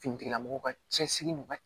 Finitigilamɔgɔw ka cɛsiri ma